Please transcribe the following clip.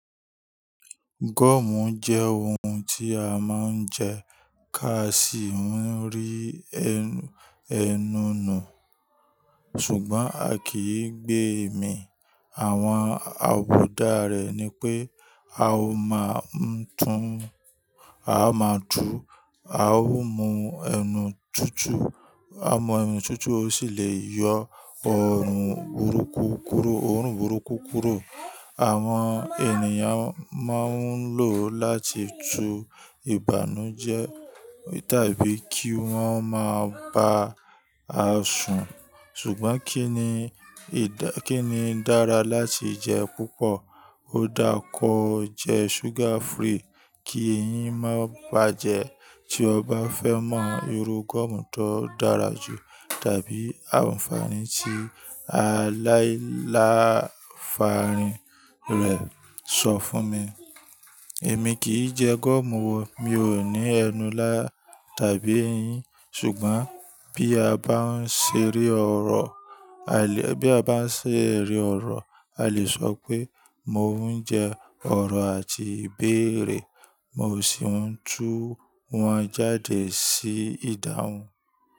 Gọ́ọ̀mù jẹ́ ohun tí a máa ń jẹ ká sì ń rí ẹnu- ẹnu nù. Ṣùgbọ́n a kì í gbé èmí. Àwọn àbùdá rẹ̀ ni pé a máa m'tún, a máa tú, a ó mú ẹnu tútù, a mú ẹnu tútù, ó sì le yọ ọrùn burúkú kúrò, ọrùn burúkú kúrò. Àwọn ènìyàn máa ń lò ó láti tu ìbànújẹ́ tàbí kí wọ́n máa ba à sùn. Ṣùgbọ́n kí ni ìdá- kí ni dára láti jẹ púpọ̀? Ó dára kó jẹ sugar free kí ẹyin má bà jẹ. Tí ọ bá fẹ́ mọ irú gọ́ọ̀mù tó dára jù tàbí àǹfààní tí aláìláfa rìn rẹ̀ sọ fún mi. Èmi kì í jẹ gọ́ọ̀mù o, mi ò ní ẹnu lá tàbí ẹyin ṣùgbọ́n bí a bá ń ṣe rí ọ̀rọ̀, a lè bí a bá ń ṣe rí ọ̀rọ̀, a lè sọ pé mo ń jẹ ọ̀rọ̀ àti ìbéèrè. Mo sì ń tú wọn jáde sí ìdáhùn.